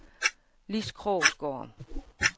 Lis Krogsgaard